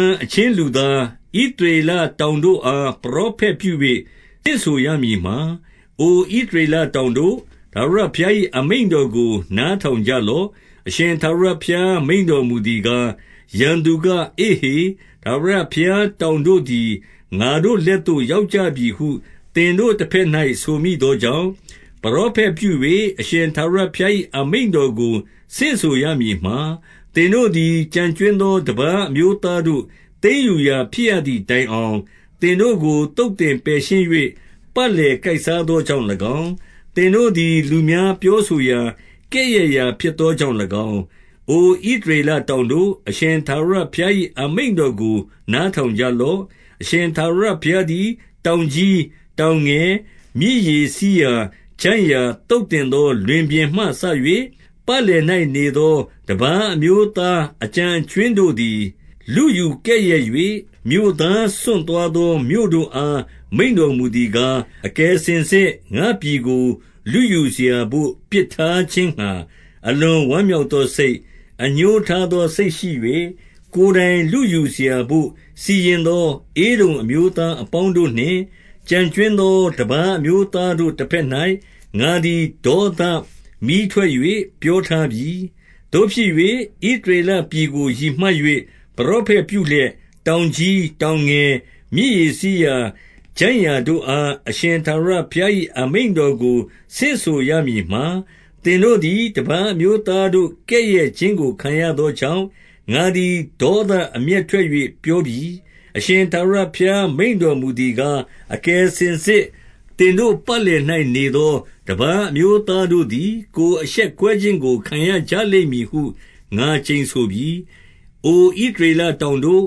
န်အချင်းလူသား၊ ဣသရေလတောင်တို့ အား ပရောဖက်ပြု၍ ဆင့်ဆိုရမည်မှာ၊ အိုဣသရေလ တောင်တို့၊ ထာဝရဘုရား၏အမိန့်တော်ကို နားထောင် ကြလော့။ 2 အရှင်ထာဝရဘုရား မိန့်တော်မူသည်ကား၊ ရန်သူက၊ အေ့ဟေ၊ ထာဝရတောင်တို့သည် ငါတို့လက်သို့ ရောက်ကြပြီဟု သင်တို့တဘက်၌ ဆိုမိသောကြောင့်၊ 3 ပရောဖက်ပြု၍ အရှင်ထာဝရဘုရား၏ အမိန့် တော်ကိုဆင့်ဆိုရမည်မှာ၊ သင်တို့သည်ကျန်ကြွင်းသော တပါးအမျိုးသားတို့ သိမ်းယူရာဖြစ်သည်တိုင်အောင်၊ သင်တို့ကိုသုတ်သင်ပယ်ရှင်း၍ ပတ်လည်ကိုက်စားသော ကြောင့်၎င်း၊ သင်တို့သည် လူများပြော ဆိုရာ၊ ကဲ့ရဲ့ရာ ဖြစ်သောကြောင့်၎င်း၊ 4 အိုဣသရေလတောင်တို့၊ အရှင်ထာဝရ ဘုရား၏ အမိန့်တော်ကို နားထောင်ကြလော့။ အရှင်ထာဝရဘုရားသည် တောင်ကြီး၊ တောင် ငယ်၊ မြစ်ရေစီးရာ၊ ချိုင့်ရာ၊ သုတ်သင်သောလွင်ပြင်မှစ၍၊ ပတ်လည်၌နေသော တပါးအမျိုးသား အကျန်အကြွင်း တို့သည် လုယူကဲ့ရဲ့၍၊ မြို့သားစွန့်သွားသော မြို့တို့အား မိန့်တော်မူသည်ကား၊ 5 အကယ်စင်စစ် ငါ့ပြည်ကိုလုယူစရာဘို့ ပစ်ထား ခြင်းငှါ အလွန်ဝမ်းမြောက်သောစိတ်၊ အငြိုးထားသော စိတ်ရှိ၍၊ ကိုယ်တိုင်လုယူစရာဘို့ စီရင်သော ဧဒုံအမျိုး သားအပေါင်းတို့နှင့် ကျန်ကြွင်းသော တပါးအမျိုးသား တို့တဘက်၌ ငါသည် ဒေါသမီးထွက်၍ ပြောထားပြီ။ 6 သို့ဖြစ်၍၊ ဣသရေလပြည်ကို ရည်မှတ်၍ ပရောဖက်ပြုလျက်၊ တောင်ကြီး၊ တောင်ငယ်၊ မြစ်ရေ စီးရာ၊ ချိုင့်ရာတို့အား အရှင်ထာဝရဘုရား၏ အမိန့်တော် ကို ဆင့်ဆိုရမည်မှာ၊ သင်တို့သည်တပါးအမျိုးသားတို့ကဲ့ရဲ့ ခြင်းကိုခံရသောကြောင့်၊ ငါသည် ဒေါသအမျက်ထွက်၍ ပြောပြီ။ 7 အရှင်ထာဝရဘုရား မိန့်တော်မူသည်ကား၊ အကယ်စင်စစ် သင်တို့ပတ်လည်၌နေသော တပါးအမျိုး သားတို့သည် ကိုယ်အရှက်ကွဲခြင်းကို ခံရကြလိမ့်မည်ဟု ငါကျိန်ဆိုပြီ။ 8 အိုဣသရေလတောင်တို့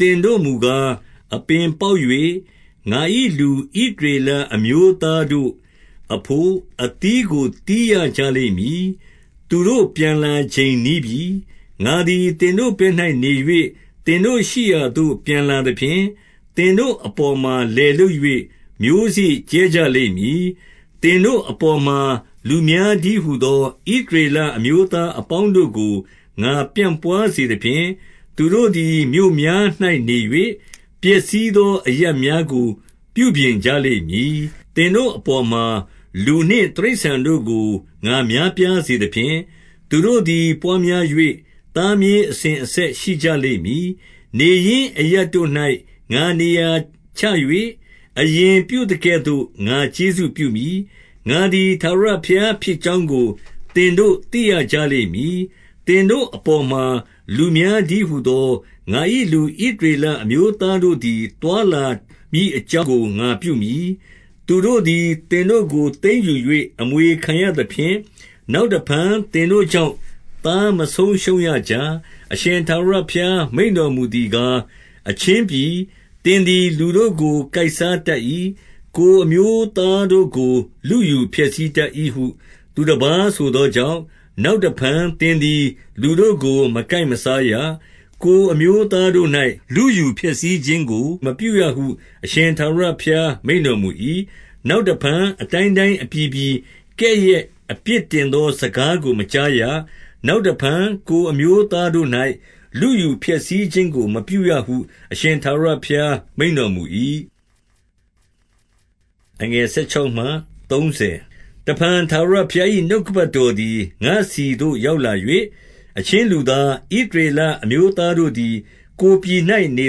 ၊ သင်တို့မူကား၊ အပင် ပေါက်၍ ငါ၏လူဣသရေလအမျိုးသားတို့အဘို့ အသီးကိုသီး ရကြလိမ့်မည်။ သူတို့ ပြန်လာချိန်နီးပြီ။ 9 ငါသည်သင်တို့ဘက်၌နေ၍ သင်တို့ရှိရာသို့ ပြန်လာသဖြင့်၊ သင်တို့အပေါ်မှာ လယ်လုပ်၍ မျိုးစေ့ ကြဲကြလိမ့်မည်။ 10 သင်တို့အပေါ်မှာ လူများတည်းဟူသော ဣသရေလအမျိုးသား အပေါင်းတို့ကို ငါပြန့်ပွါးစေသဖြင့်၊ သူတို့သည် မြို့များ၌နေ၍ ပျက်စီးသော အရပ်များကို ပြုပြင်ကြလိမ့်မည်။ 11 သင်တို့အပေါ်မှာ လူနှင့်တိရစ္ဆာန်တို့ကို ငါ များပြားစေသဖြင့်၊ သူတို့သည်ပွားများ၍ သားမြေးအစဉ် အဆက်ရှိကြလိမ့်မည်။ နေရင်းအရပ်တို့၌ ငါနေရာချ၍၊ အရင်ပြုသကဲ့သို့ ငါကျေးဇူးပြုမည်။ ငါသည် ထာဝရ ဘုရားဖြစ်ကြောင်းကို သင်တို့သိရကြလိမ့်မည်။ 12 သင်တို့အပေါ်မှာ လူများတည်းဟူသော ငါ၏ လူဣသရေလအမျိုးသားတို့သည် သွားလာမည် အကြောင်း ငါပြုမည်။ သူတို့သည် သင်တို့ကို သိမ်းယူ၍ အမွေခံရသဖြင့်၊ နောက်တဖန် သင်တို့ကြောင့် သားမဆုံး ရှုံးရကြ။ 13 အရှင်ထာဝရဘုရား မိန့်တော်မူသည်ကား၊ အချင်းပြည်၊ သင်သည် လူတို့ကို ကိုက်စားတတ်၏။ ကိုယ် အမျိုးသားတို့ကို လုယူဖျက်ဆီးတတ်၏ဟု သူတပါး ဆိုသောကြောင့်၊ 14 နောက်တဖန်သင်သည် လူတို့ကို မကိုက်စားရ။ ကိုယ်အမျိုးသားတို့၌ လုယူဖျက်ဆီးခြင်းကို မပြုရဟု အရှင် ထာဝရဘုရားမိန့်တော်မူ၏။ 15 နောက်တဖန် အတိုင်းတိုင်းအပြည်ပြည် ကဲ့ရဲ့ အပြစ်တင်သော စကားကိုမကြားရ။ နောက်တဖန် ကိုယ် အမျိုးသားတို့၌ လုယူဖျပ်ဆီးခြင်းကို မပြုရဟု အရှင် ထာဝရဘုရားမိန့်တော်မူ၏။ 16 တဖန်ထာဝရဘုရား၏ နှုတ်ကပတ်တော်သည် ငါ့ဆီသို့ ရောက်လာ၍၊ 17 အချင်းလူသား၊ ဣသရေလအမျိုးသားတို့သည် ကိုယ်ပြည်၌နေ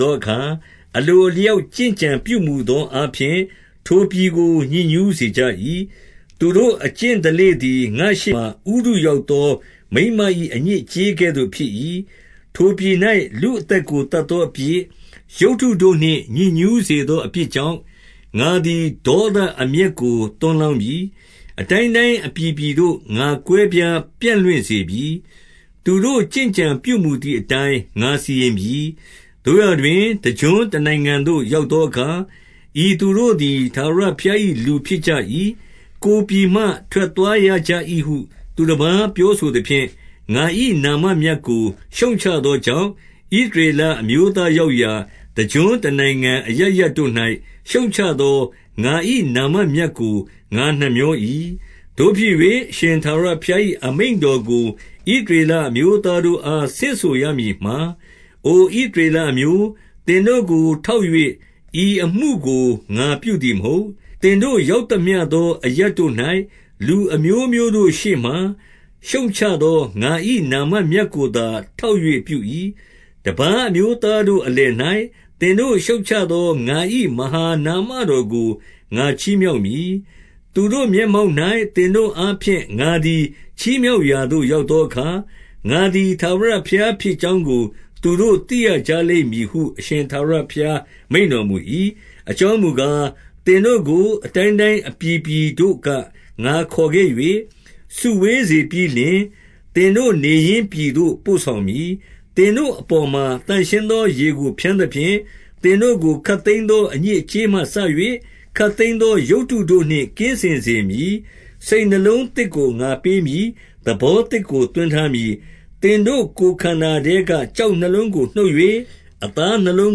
သောအခါ၊ အလိုအလျောက် ကျင့်ကြံပြုမူ သောအားဖြင့် ထိုပြည်ကို ညစ်ညူးစေကြ၏။ သူတို့ အကျင့်ဓလေ့သည် ငါ့ရှေမှာဥတုရောက်သော မိန်းမ၏ အညစ်အကြေးကဲ့သို့ ဖြစ်၏။ 18 ထိုပြည်၌ လူအသက်ကိုသတ်သောအပြစ်၊ ရုပ်တုတို့နှင့် ညစ်ညူးစေသော အပြစ်ကြောင့်၊ ငါသည် ဒေါသအမျက်ကို သွန်းလောင်းပြီ။ 19 အတိုင်းတိုင်းအပြည်ပြည်သို့ ငါကွဲပြားပြန့်လွင့် စေပြီ။ သူတို့ကျင့် ကြံပြုမူသည်အတိုင်း ငါစီရင်ပြီ။ 20 သို့ရာတွင် တကျွန်းတနိုင်ငံသို့ရောက်သောအခါ ဤသူတို့သည် ထာဝရဘုရား၏ လူဖြစ်ကြ၏။ ကိုယ်ပြည် မှ ထွက်သွားရကြ၏ဟု သူတပါးပြောဆိုသဖြင့်၊ ငါ၏နာမ မြတ်ကို ရှုတ်ချသောကြောင့်၊ 21 ဣသရေလအမျိုးသားရောက်ရာ တကျွန်း တနိုင်ငံအရပ်ရပ်တို့၌ ရှုတ်ချသော ငါ၏နာမမြတ်ကို ငါနှမြော၏။ 22 သို့ဖြစ်၍၊ အရှင်ထာဝရဘုရား၏ အမိန့်တော်ကို ဣသရေလအမျိုးသားတို့အား ဆင့်ဆိုရမည်မှာ၊ အိုဣသရေလအမျိုး၊ သင်တို့ကိုထောက်၍ ဤအမှုကို ငါပြုသည် မဟုတ်။ သင်တို့ရောက်သမျှသောအရပ်တို့၌ လူအမျိုးမျိုးတို့ ရှေ့မှာ ရှုတ်ချသော ငါ၏နာမမြတ်ကိုသာ ထောက်၍ ပြု၏။ 23 တပါးအမျိုးသားတို့ အလယ်၌သင်တို့ ရှုတ်ချ သော ငါ၏မဟာနာမတော်ကို ငါချီးမြှောက်မည်။ သူတို့ မျက်မှောက်၌ သင်တို့အားဖြင့် ငါသည် ချီးမြောက်ရာသို့ ရောက်သောအခါ၊ ငါသည်ထာဝရဘုရား ဖြစ်ကြောင်းကို သူတို့သိရကြလိမ့်မည်ဟု အရှင်ထာဝရဘုရား မိန့်တော်မူ ၏။ 24 အကြောင်းမူကား၊ သင်တို့ကို အတိုင်းတိုင်း အပြည်ပြည်တို့က ငါခေါ်ခဲ့၍ စုဝေးစေပြီးလျှင်၊ သင်တို့ နေရင်းပြည်သို့ပို့ဆောင်မည်။ 25 သင်တို့အပေါ်မှာ သန့်ရှင်းသော ရေကို ဖျန်း သဖြင့်၊ သင်တို့ကို ခပ်သိမ်းသော အညစ်အကြေးမှစ၍ ခပ်သိမ်းသော ရုပ်တုတို့နှင့် ကင်းစင်စေမည်။ 26 စိတ်နှလုံးသစ်ကို ငါပေးမည်။ သဘောသစ်ကို သွင်းထားမည်း။ သင်တို့ကိုယ်ခန္ဓာထဲက ကျောက်နှလုံးကို နှုတ်၍ အသားနှလုံး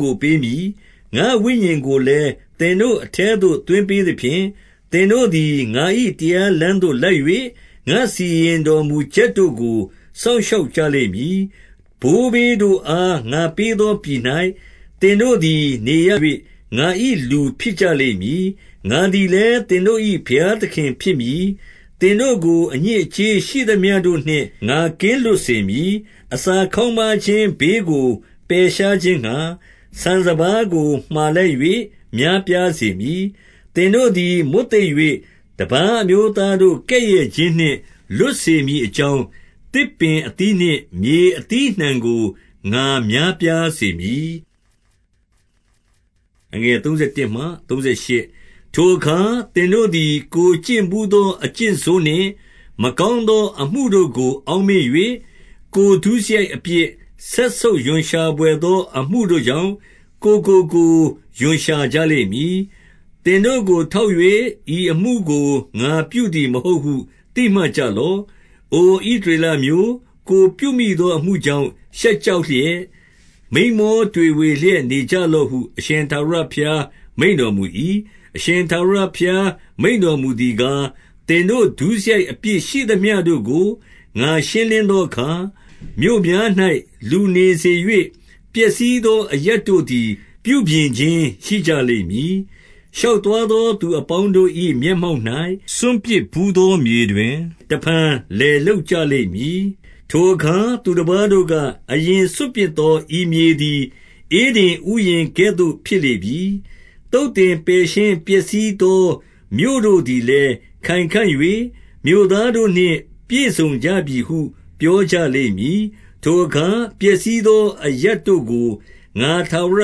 ကို ပေးမည်။ 27 ငါ့ဝိညာဉ်ကိုလည်း သင်တို့အထဲသို့ သွင်းပေး သဖြင့်၊ သင်တို့သည် ငါ၏တရားလမ်းသို့လိုက်၍၊ ငါစီရင် တော်မူချက်တို့ကို စောင့်ရှောက်ကြလိမ့်မည်။ 28 ဘိုးဘေးတို့အား ငါပေးသောပြည်၌ သင်တို့ သည် နေရ၍ ငါ၏လူဖြစ်ကြလိမ့်မည်။ ငါသည်လည်း သင်တို့၏ဘုရားသခင်ဖြစ်မည်။ 29 သင်တို့ကို အညစ်အကြေးရှိသမျှတို့နှင့် ငါ ကင်းလွတ်စေမည်။ အစာခေါင်းပါးခြင်းဘေးကို ပယ်ရှား ခြင်းငှါ၊ ဆန်စပါးကို မှာလိုက်၍ များပြားစေမည်။ 30 သင်တို့သည် မွတ်သိပ်၍ တပါးအမျိုးသားတို့ ကဲ့ရဲ့ခြင်းနှင့် လွတ်စေမည်အကြောင်း၊ သစ်ပင်အသီးနှင့် မြေအသီးအနှံကို ငါများပြားစေမည်။ 31 ထိုအခါ သင်တို့သည် ကိုယ်ကျင့်ဘူးသော အကျင့်ဆိုးနှင့် မကောင်းသော အမှုတို့ကို အောက်မေ့၍၊ ကိုယ်ဒုစရိုက်အပြစ်၊ စက်ဆုပ်ရွံရှာဘွယ်သော အမှုတို့ကြောင့် ကိုယ်ကိုကိုယ်ရွံရှာ ကြလိမ့်မည်။ 32 သင်တို့ကိုထောက်၍ ဤအမှုကို ငါပြုသည် မဟုတ်ဟု သိမှတ်ကြလော့။ အိုဣသရေလအမျိုး၊ ကိုယ်ပြု မိသောအမှုကြောင့် ရှက်ကြောက်လျက်၊ မိန်မောတွေဝေ လျက်နေကြလော့ဟု အရှင်ထာဝရဘုရား မိန့်တော်မူ၏။ 33 အရှင်ထာဝရဘုရားမိန့်တော်မူသည်ကား၊ သင်တို့ဒုစရိုက် အပြစ်ရှိသမျှတို့ကို ငါရှင်းလင်းသောအခါ၊ မြို့များ၌လူနေစေ၍ ပျက်စီးသော အရပ်တို့သည် ပြုပြင် ခြင်းရှိကြလိမ့်မည်။ 34 ရှောက်သွားသော သူအပေါင်းတို့၏ မျက် မှောက်၌ စွန့်ပစ်ဘူးသော မြေတွင် တဖန် လယ်လုပ်ကြ လိမ့်မည်။ 35 ထိုအခါ သူတပါးတို့က၊ အရင်စွန့်ပစ်သော ဤမြေသည် ဧဒင်ဥယျာဉ်ကဲ့သို့ ဖြစ်လေပြီ။ သုတ်သင် ပယ်ရှင်းပျက်စီးသော မြို့တို့သည်လည်း ခိုင်ခံ့၍ မြို့သား တို့နှင့် ပြည့်စုံကြပြီဟု ပြောကြလိမ့်မည်။ 36 ထိုအခါ ပျက်စီးသော အရပ်တို့ကို ငါထာဝရ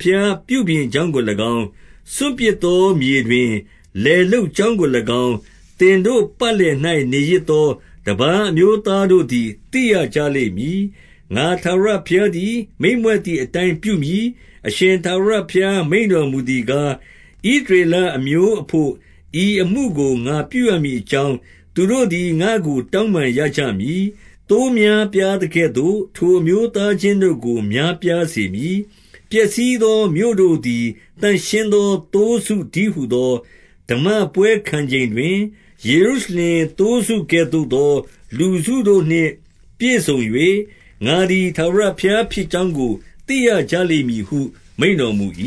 ဘုရားပြုပြင်ကြောင်းကို၎င်း၊ စွန့်ပစ်သောမြေတွင် လယ် လုပ်ကြောင်းကို၎င်း၊ သင်တို့ပတ်လည်၌နေရစ်သော တပါးအမျိုးသားတို့သည် သိရကြလိမ့်မည်။ ငါထာဝရ ဘုရားသည် မိန့်မြွက်သည်အတိုင်း ပြုမည်။ 37 အရှင်ထာဝရဘုရား မိန့်တော်မူသည်ကား၊ ဣသရေလအမျိုးအဘို့ ဤအမှုကို ငါပြုရမည်အကြောင်း၊ သူတို့သည် ငါ့ကိုတောင်းပန်ရကြမည်။ သိုးများပြားသကဲ့သို့ ထိုအမျိုးသားအချင်းတို့ကို များပြားစေမည်။ 38 ပျက်စီးသောမြို့တို့သည် သန့်ရှင်းသော သိုးစု တည်းဟူသော၊ ဓမ္မပွဲခံချိန်တွင် ယေရုရှလင်သိုးစုကဲ့သို့ သော လူစုတို့နှင့် ပြည့်စုံ၍၊ ငါသည် ထာဝရဘုရား ဖြစ်ကြောင်းကို သိရကြလိမ့်မည်ဟု မိန့်တော်မူ၏။